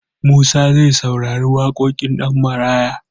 Musa zai saurari waƙoƙin Ɗanmaraya.